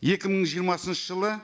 екі мың жиырмасыншы жылы